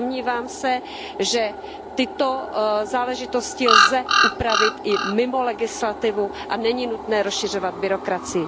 Domnívám se, že tyto záležitosti lze upravit i mimo legislativu a není nutné rozšiřovat byrokracii.